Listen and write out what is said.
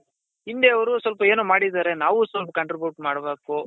ಹಿಂದೆ ಅವ್ರು ಸ್ವಲ್ಪ ಏನೋ ಮಾಡಿದರೆ ನಾವು ಸ್ವಲ್ಪ contribute ಮಾಡ್ಬೇಕು